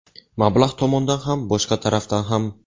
Mablag‘ tomondan ham, boshqa tarafdan ham.